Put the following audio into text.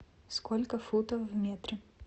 сколько футов в метре